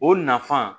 O nafan